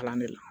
Kalan de la